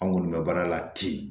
An kɔni bɛ baara la ten